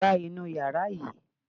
Gba inú yàrá yìí!